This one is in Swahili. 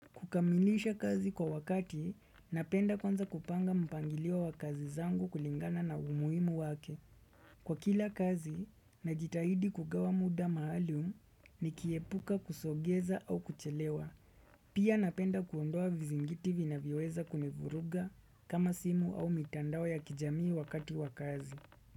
Kukamilisha kazi kwa wakati, napenda kwanza kupanga mpangilio wa kazi zangu kulingana na umuhimu wake. Kwa kila kazi, najitahidi kugawa muda maalum nikibepuka kusongeza au kuchelewa. Pia napenda kuondoa vizingiti vina vinavyoweza kuni vuruga kama simu au mitandao ya kijamii wakati wa kazi.